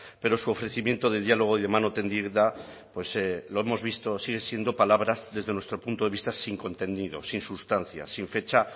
pero su ofrecimiento de diálogo y de mano tendida pues lo hemos visto siguen siendo palabras desde nuestro punto de vista sin contenidos sin sustancia sin fecha